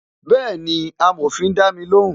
Bẹẹni, amòfin dami lóhùn